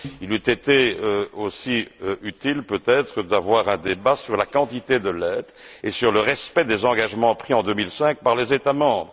Il eut été aussi utile peut être d'avoir un débat sur la quantité de l'aide et sur le respect des engagements pris en 2005 par les États membres.